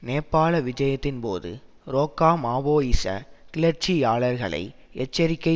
நேபாள விஜயத்தின்போது றோக்கா மாவோயிச கிளர்ச்சிக்காரர்களை எச்சரிக்கை